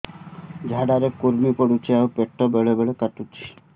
ଝାଡା ରେ କୁର୍ମି ପଡୁଛନ୍ତି ଆଉ ପେଟ ବେଳେ ବେଳେ କାଟୁଛି